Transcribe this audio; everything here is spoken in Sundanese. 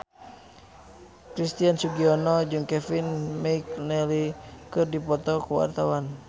Christian Sugiono jeung Kevin McNally keur dipoto ku wartawan